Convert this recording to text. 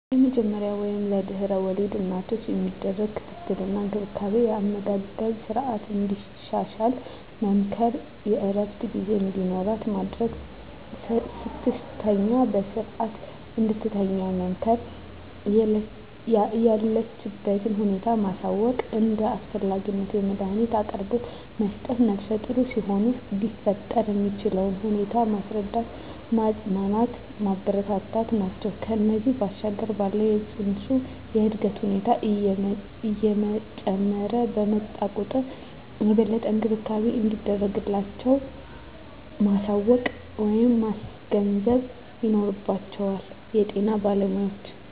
የመጀመሪያ ወይም ለድሕረ ወሊድ እናቶች የሚደረግ ክትትል እና እንክብካቤ የአመጋገብ ስረዓትን እንድታሻሽል መምከር፣ የእረፍት ጊዜ እንዲኖራት ማድረግ፣ ስትተኛ በስረዓት እንድትተኛ መምከር፣ የለችበትን ሁኔታ ማሳወቅ፣ እንደ አስፈላጊነቱ የመዳኒት አቅርቦት መስጠት፣ ነፍሰጡር ሲሆኑ ሊፈጠር የሚችለውን ሁኔታ ማስረዳት፣ ማፅናናት፣ ማበረታታት ናቸው። ከዚያ ባሻገር ባለው የፅንሱ የእድገት ሁኔታ እየጨመረ በመጣ ቁጥር የበለጠ እንክብካቤ እንደሚያስፈልጋቸው ማሳወቅ ወይም ማስገንዘብ ይኖርባቸዋል የጤና ባለሞያዎች።